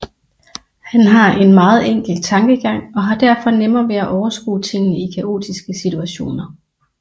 Han har en meget enkel tankegang og har derfor nemmere ved at overskue tingene i kaotiske situationer